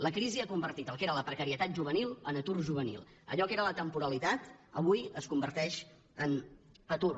la crisi ha convertit el que era la precarietat juvenil en atur juvenil allò que era la temporalitat avui es converteix en atur